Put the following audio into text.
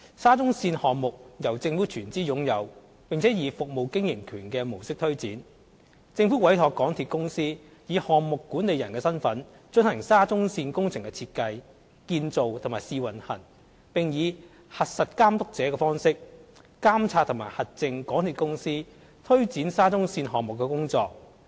沙中線項目由政府全資擁有並以"服務經營權"模式推展，政府委託香港鐵路有限公司以項目管理人的身份進行沙中線工程的設計、建造和試運行，並以"核實監督者"的方式監察和核證港鐵公司推展沙中線項目的工作。